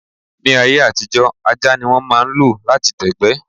Ní ayé àtijó, ajá ní wọ́n máà ń lo lati dẹ̀gbẹ́